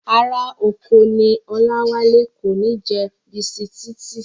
Ará oko ní Ọláwálé, kò kí ń jẹ bisitíìtì